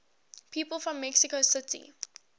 people from mexico city